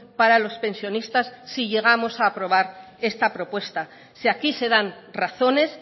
para los pensionistas si llegamos a aprobar esta propuesta si aquí se dan razones